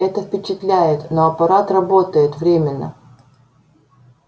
это впечатляет но аппарат работает временно